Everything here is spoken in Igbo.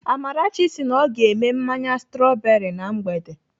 Amarachi sị na ọ ga-eme mmanya strọberị na mgbede.